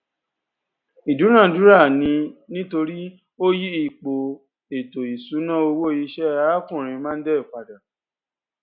ìdúnadúrà ni nítorí ó yí ipò ètò ìṣúná owó iṣẹ arákùnrin mondal pada